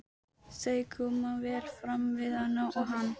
Þau koma vel fram við hana og hann